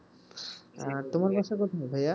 আহ তোমার বাসা কোথায় ভাইয়া?